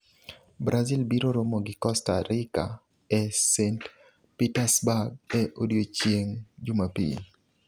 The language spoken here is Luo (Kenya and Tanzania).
Brazil biro romo gi Costa Rika e St Petersburg e odiechieng' Jumapil.